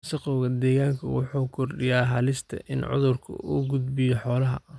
Wasakhowga deegaanku waxa uu kordhiyaa halista in cudurku u gudbiyo xoolaha.